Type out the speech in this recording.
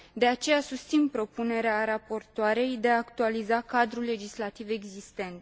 De aceea, susțin propunerea raportoarei de a actualiza cadrul legislativ existent.